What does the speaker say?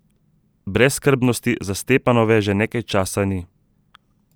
Brezskrbnosti za Stepanove že nekaj časa ni.